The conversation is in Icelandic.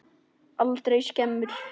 Aldrei skemur.